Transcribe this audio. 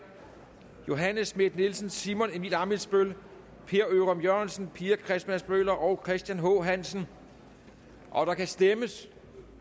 johanne schmidt nielsen simon emil ammitzbøll per ørum jørgensen pia christmas møller og christian h hansen og der kan stemmes